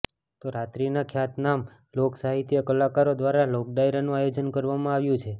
તો રાત્રીના ખ્યાતનામ લોક સાહીત્ય કલાકારો દ્વારા લોક ડાયરાનું આયોજન કરવામાં આવ્યું છે